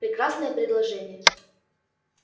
прекрасное предложение